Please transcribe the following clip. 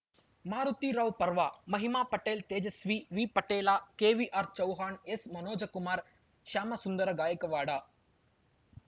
Maruti Rao Parva Mahima Patel Tejaswi V Patel K V R Chauhan S Manojkumar Shyamsundar Gaikwad